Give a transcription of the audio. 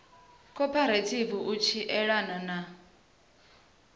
khophorethivi u tshi elana na